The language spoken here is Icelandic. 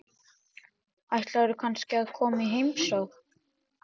Ætlarðu kannski að koma í heimsókn?